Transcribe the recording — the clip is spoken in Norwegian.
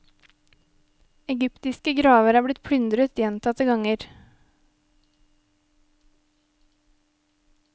Egyptiske graver er blitt plyndret gjentatte ganger.